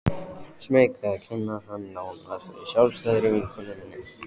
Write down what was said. Smeyk við að kynna hann nánar fyrir sjálfstæðri vinkonu minni.